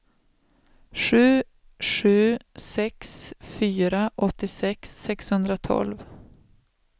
sju sju sex fyra åttiosex sexhundratolv